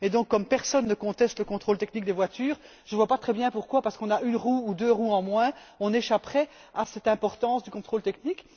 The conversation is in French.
Donc, comme personne ne conteste le contrôle technique des voitures, je ne vois pas très bien pourquoi, parce qu'on a une roue ou deux en moins, on échapperait à cette importance du contrôle technique.